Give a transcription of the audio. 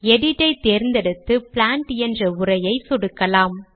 edit ஐ தேர்ந்தெடுத்து plant என்ற உரையை சொடுக்கலாம்